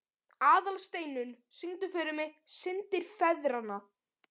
Aðalsteinunn, syngdu fyrir mig „Syndir feðranna“.